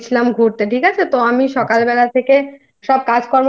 এ গেছিলাম ঘুরতে ঠিক আছে আচ্ছা তো আমি সকালবেলা থেকে সব